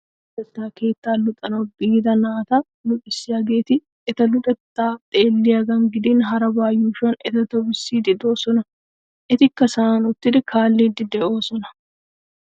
Luxetta keettaa luxanawu biida naata luxissiyageeti eta luxettaa xeelliyagan gidin harabaa yuushuwan eta tobissiiddi de'oosona. Etikka sa'an uttidi kaalliiddi de'oosona?